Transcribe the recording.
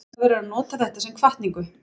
Maður verður að nota þetta sem hvatningu.